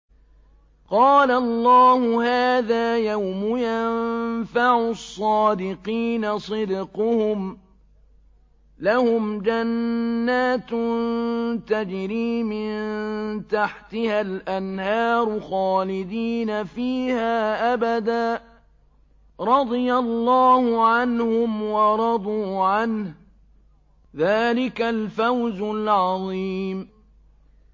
قَالَ اللَّهُ هَٰذَا يَوْمُ يَنفَعُ الصَّادِقِينَ صِدْقُهُمْ ۚ لَهُمْ جَنَّاتٌ تَجْرِي مِن تَحْتِهَا الْأَنْهَارُ خَالِدِينَ فِيهَا أَبَدًا ۚ رَّضِيَ اللَّهُ عَنْهُمْ وَرَضُوا عَنْهُ ۚ ذَٰلِكَ الْفَوْزُ الْعَظِيمُ